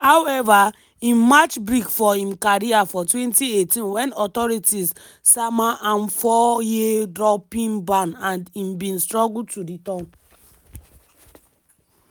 however im match brake for im career for 2018 wen authorities sama am four-year doping ban and im bin struggle to return.